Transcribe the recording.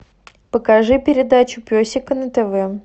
покажи передачу песика на тв